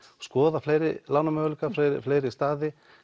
skoða fleiri lánamöguleika fleiri staði